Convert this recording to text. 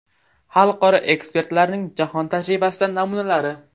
Xalqaro ekspertlarning jahon tajribasidan namunalari.